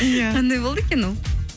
иә қандай болды екен ол